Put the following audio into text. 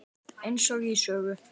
Eins og í sögu.